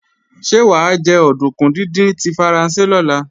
Ṣé wà á jẹ òdùnkún díndín tí Faransé lọ́la?